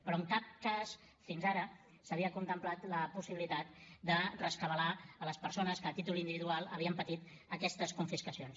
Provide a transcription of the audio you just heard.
però en cap cas fins ara s’havia contemplat la possibilitat de rescabalar les persones que a títol individual havien patit aquestes confiscacions